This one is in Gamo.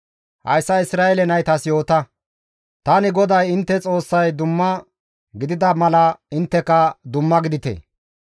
«Hayssa Isra7eele naytas yoota, ‹Tani GODAY intte Xoossay dumma gidida mala intteka dumma gidite.